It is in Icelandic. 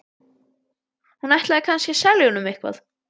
Hún ætlaði kannski að selja honum eitthvað.